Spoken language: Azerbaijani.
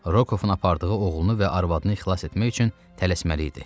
Rokovun apardığı oğlunu və arvadını xilas etmək üçün tələsməli idi.